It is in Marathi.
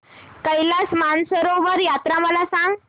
कैलास मानसरोवर यात्रा मला सांग